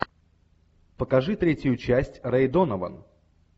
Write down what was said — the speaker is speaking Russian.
покажи третью часть рэй донован